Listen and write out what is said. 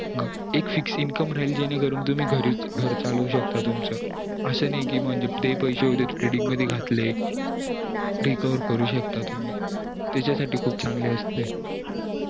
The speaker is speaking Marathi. एक fic income राहील जेणे करून तुम्ही घर चालवू शकता तुमचं असं नई कि ते पैसे threading मध्ये घातले take over करू शकता त्याच्या साठी खूप चांगले असते